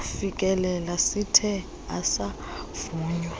sokufikelela sithe asavunywa